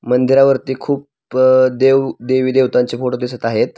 मंदिरावरती खूप अ देव देवी देवतांचे फोटो दिसत आहेत.